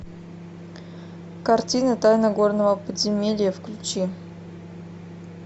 картина тайна горного подземелья включи